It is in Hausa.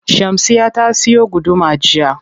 Shamsiyya ta siyo guduma jiya.